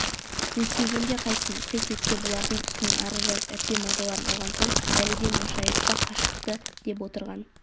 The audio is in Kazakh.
өйтпегенде қайтсін қит етсе бұлардың үстінен арыз жазып әбден мазаларын алған соң бәледен машайық та қашыпты деп отырған